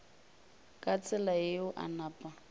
ka tsela yeo a napa